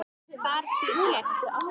Þar sit ég.